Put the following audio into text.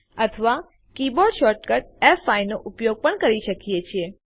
અથવા keyboard shortcut ફ5 નો ઉપયોગ કરી શકીએ છીએ